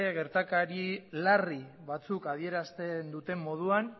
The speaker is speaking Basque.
gertakari larri batzuk adierazten duten moduan